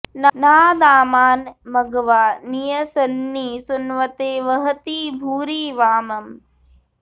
नाह॑ दा॒मानं॑ म॒घवा॒ नि यं॑स॒न्नि सु॑न्व॒ते व॑हति॒ भूरि॑ वा॒मम्